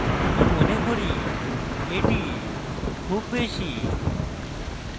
আমি মনে করি এটি খুব বেশী